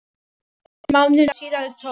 Þremur mánuðum síðar tók